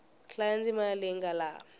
hlaya ndzimana leyi nga laha